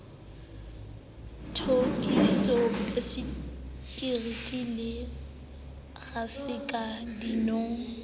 toustu bisekiti le raske dinong